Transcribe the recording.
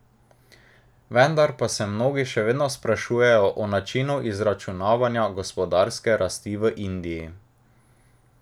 Vendar pa se mnogi še vedno sprašujejo o načinu izračunavanja gospodarske rasti v Indiji.